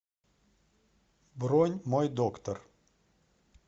бронь мой доктор